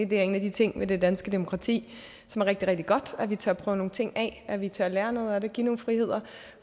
det er en af de ting ved det danske demokrati som er rigtig rigtig godt at vi tør prøve nogle ting af at vi tør lære noget af det give nogle friheder